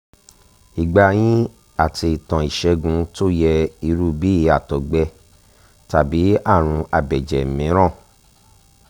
ìgbà yín àti ìtàn ìṣègùn tó yẹ irú bí àtọ̀gbẹ tàbí àrùn abẹ́jẹ̀ mìíràn